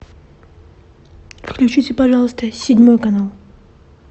включите пожалуйста седьмой канал